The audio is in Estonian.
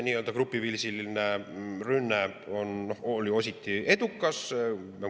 Nii‑öelda grupiviisiline rünne oli osalt edukas.